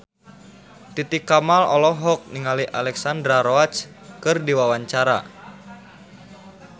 Titi Kamal olohok ningali Alexandra Roach keur diwawancara